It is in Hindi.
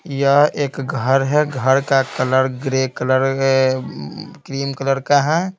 यह एक घर है घर का colour grey colour cream colour का है।